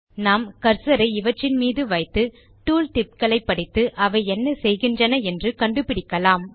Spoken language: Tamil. நாம் கர்சர் ஐ இவற்றின் மீது வைத்து டூல் tipகளை படித்து அவை என்ன செய்கின்றன என்று கண்டுபிடிக்கலாம்